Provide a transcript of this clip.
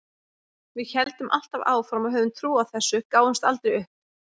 Við héldum alltaf áfram og höfðum trú á þessu, gáfumst aldrei upp.